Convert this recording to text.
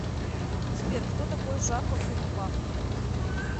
сбер кто такой жак оффенбах